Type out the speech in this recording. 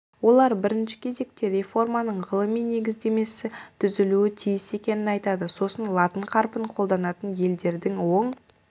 олар бірінші кезекте реформаның ғылыми негіздемесі түзілуі тиіс екенін айтады сосын латын қарпін қолданатын елдердің оң